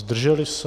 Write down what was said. Zdrželi se?